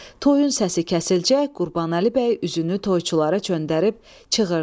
Toyun səsi kəsilçək, Qurbanəli bəy üzünü toyçulara çönərdib çığırdı.